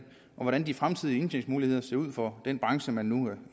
og hvordan de fremtidige indtægtsmuligheder ser ud for den branche der nu